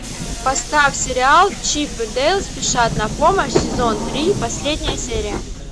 поставь сериал чип и дейл спешат на помощь сезон три последняя серия